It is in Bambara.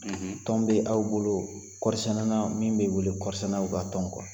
Tɔn bɛ' aw bolo min bɛ wele kɔɔri sɛnɛlaw ka tɔn